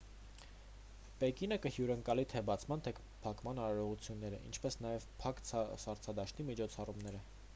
պեկինը կհյուրընկալի թե բացման թե փակման արարողությունները ինչպես նաև փակ սառցադաշտի միջոցառումները